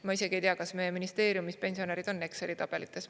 Ma isegi ei tea, kas meie ministeeriumis pensionärid on Exceli tabelites.